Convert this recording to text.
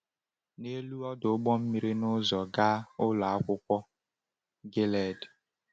N’elu ọdụ ụgbọ mmiri n’ụzọ gaa Ụlọ Akwụkwọ Gilead.